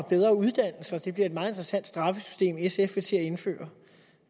og bedre uddannelse det bliver et meget interessant straffesystem sf vil til at indføre